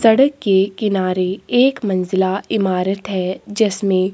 सड़क के किनारे एक मंजिला हिमारत हैं जिसमे--